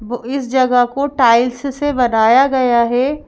बु इस जगह को टाइल्स से बनाया गया है।